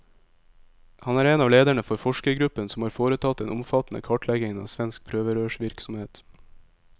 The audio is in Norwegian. Han er en av lederne for forskergruppen som har foretatt den omfattende kartleggingen av svensk prøverørsvirksomhet.